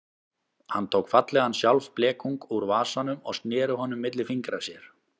Hann tók fallegan sjálfblekung úr vasanum og sneri honum milli fingra sér.